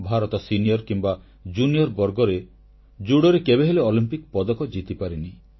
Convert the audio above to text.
Bharat senior କିମ୍ବା junior ବର୍ଗରେ ଜୁଡ଼ୋରେ କେବେହେଲେ ଅଲିମ୍ପିକ ପଦକ ଜିତିପାରିନି